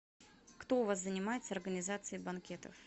кто у вас занимается организацией банкетов